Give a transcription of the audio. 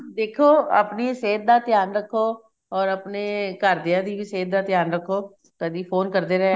ਦੇਖੋ ਆਪਣੀ ਸਿਹਤ ਦਾ ਧਿਆਨ ਰੱਖੋ or ਆਪਣੇ ਘਰ ਦੀਆਂ ਦੀ ਵੀ ਸਿਹਤ ਦਾ ਧਿਆਨ ਰੱਖੋ ਕਦੀ phone ਕਰਦੇ ਰਿਹਾ ਕਰੋ